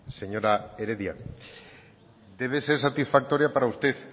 señora heredia debe ser satisfactoria para usted